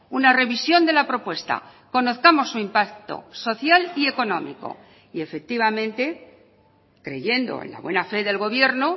una revisión de la propuesta conozcamos su impacto social y económico y efectivamente creyendo en la buena fe del gobierno